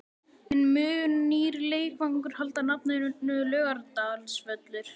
En mun nýr leikvangur halda nafninu Laugardalsvöllur?